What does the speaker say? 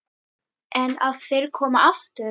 En ef þeir koma aftur?